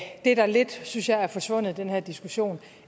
det der lidt synes jeg er forsvundet i den her diskussion